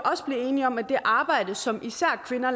enige om at det arbejde som især kvinder